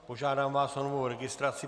Požádám vás o novou registraci.